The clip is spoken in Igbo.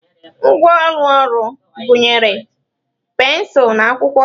Ngwa ụlọ ọrụ gụnyere pensụl na akwụkwọ.